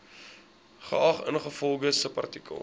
geag ingevolge subartikel